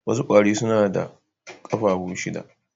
Wasu kwari suna da kafafu shida